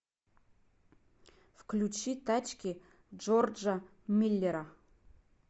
включи тачки джорджа миллера